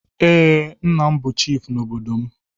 Ee, nna m bụ chifu n'obodo m.